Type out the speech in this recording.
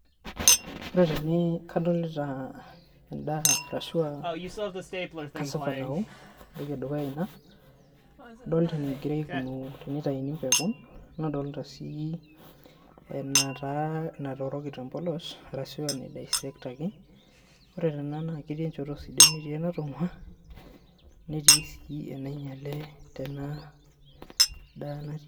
Ore tene kadolita eda arashu ah cassava nao, etoki edukuya ina edolita enikoni teinatuuni peekun nadolita sii enataa etooroki tebolos arashu ena ai baisekitaki. Ore nena naa ketii enchoto sidai netii enatongua netii sii enainyiale tena daa natii ene.